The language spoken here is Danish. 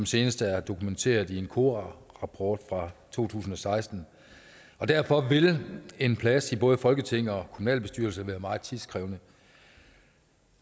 senest er dokumenteret i en kora rapport fra to tusind og seksten og derfor vil en plads i både folketinget og kommunalbestyrelse være meget tidskrævende